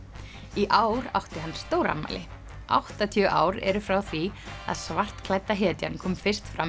í ár átti hann stórafmæli áttatíu ár eru frá því að hetjan kom fyrst fram